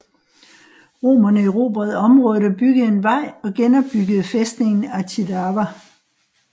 Romerne erobrede området og byggede en vej og genopbyggede fæstningen Acidava